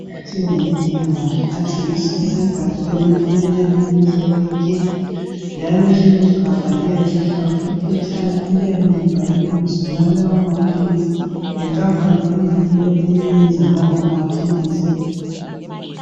Athiwa yi Diovan athengiswa esegabheni eliyabe limhlophe nke, njalo lelo gabha liyabe lifakwe iphetshana eliyabe libhalwe ibizo lalawo maphilisi lenkapani eliyiyo eliyenza lawo maphilizi.